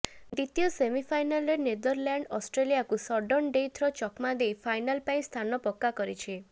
ଦ୍ୱିତୀୟ ସେମିଫାଇନାଲରେ ନେଦରଲାଣ୍ଡଅଷ୍ଟ୍ରେଲିଆକୁ ସଡନ୍ ଡେଥରେ ଚକମା ଦେଇ ଫାଇନାଲ ପାଇଁ ସ୍ଥାନ ପକ୍କା କରିଛି